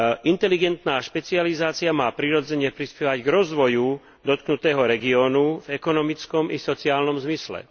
Inteligentná špecializácia má, prirodzene, prispievať k rozvoju dotknutého regiónu v ekonomickom i sociálnom zmysle.